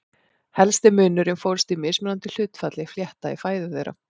Helsti munurinn fólst í mismunandi hlutfalli flétta í fæðu þeirra.